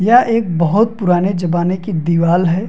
यह एक बहोत पुराने ज़बाने की दीवाल है।